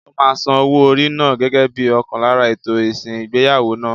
Ó máa san owó orí náà gẹ́gẹ́ bíi ọ̀kan lára ètò ìsìn ìgbéyàwó náà.